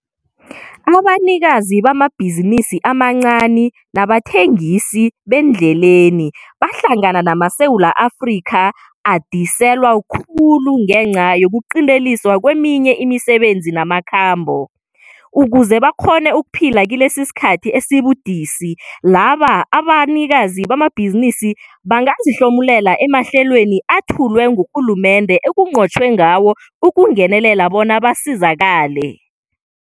Abanikazi bamabhizinisi amancani nabathengisi bendleleni bahlangana namaSewula Afrika adiselwa khulu ngenca yokuqinteliswa kweminye imisebenzi namakhambo. Ukuze bakghone ukuphila kilesisikhathi esibudisi, laba banikazi bamabhizinisi bangazihlomulela emahlelweni ethulwe ngurhulumende ekunqotjhwe ngawo ukungenelela bona basizakale.